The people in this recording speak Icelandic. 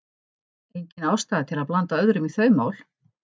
Engin ástæða til að blanda öðrum í þau mál.